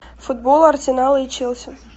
футбол арсенал и челси